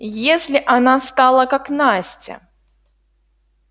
если она стала как настя